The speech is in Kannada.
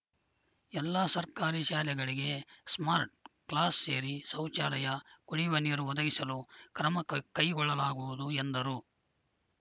ಎಲ್ಲಾ ಸರ್ಕಾರಿ ಶಾಲೆಗಳಿಗೆ ಸ್ಮಾರ್ಟ್‌ ಕ್ಲಾಸ್‌ ಸೇರಿ ಶೌಚಾಲಯ ಕುಡಿವ ನೀರು ಒದಗಿಸಲು ಕ್ರಮ ಕೈ ಕೈಗೊಳ್ಳಲಾಗುವುದು ಎಂದರು